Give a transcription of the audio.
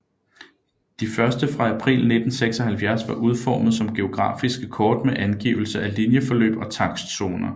De første fra april 1976 var udformet som geografiske kort med angivelse af linjeforløb og takstzoner